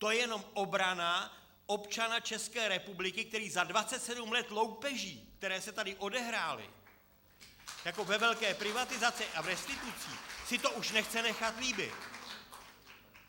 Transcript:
To je jenom obrana občana České republiky, který za 27 let loupeží, které se tady odehrály jako ve velké privatizaci a v restitucích, si to už nechce nechat líbit.